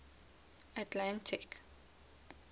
atlantic